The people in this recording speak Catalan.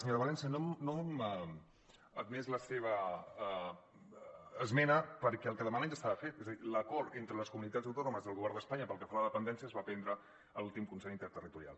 senyora valencia no hem admès la seva esmena perquè el que demanen ja estava fet és a dir l’acord entre les comunitats autònomes i el govern d’espanya pel que fa a la dependència es va prendre a l’últim consell interterritoral